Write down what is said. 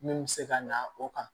Min bɛ se ka na o kan